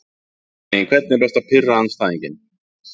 nei engan veginn Hvernig er best að pirra andstæðinginn?